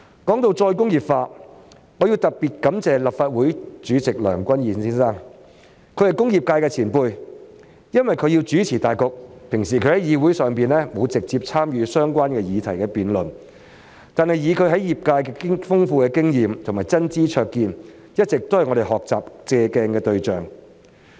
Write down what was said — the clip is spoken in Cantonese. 說到再工業化，我要特別感謝立法會主席梁君彥議員，他是工業界的前輩，平時由於須主持大局，所以在議會內並沒有直接參與相關議題的辯論，但以他在業界的豐富經驗和真知灼見，一直都是我們學習和借鏡的對象。